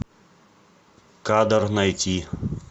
кадр найти